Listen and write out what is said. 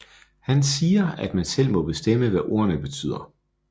Han siger at man selv må bestemme hvad ordene betyder